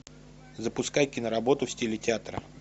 запускай киноработу в стиле театра